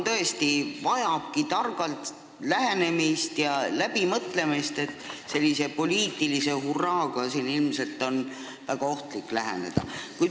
Teema vajab tõesti targalt lähenemist ja läbimõtlemist – poliitilise hurraaga on ilmselt väga ohtlik sellele läheneda.